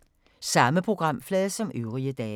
Samme programflade som øvrige dage